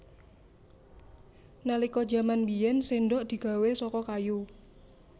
Nalika jaman biyèn séndhok digawé saka kayu